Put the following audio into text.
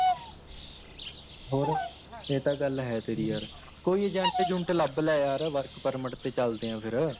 ਹੋਰ ਏ ਤਾਂ ਗੱਲ ਹੈ ਤੇਰੀ ਯਾਰ, ਕੋਈ Agent ਉੱਜੁੰਟ ਲੱਭ ਲੈ ਯਾਰ Work permit ਤੇ ਚੱਲਦੇ ਆਂ ਫ਼ੇਰ